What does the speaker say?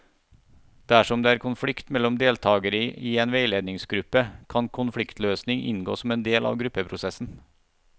Dersom det er konflikt mellom deltakere i en veiledningsgruppe, kan konfliktløsning inngå som en del av gruppeprosessen.